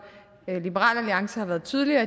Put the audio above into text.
liberal alliance har været tydeligere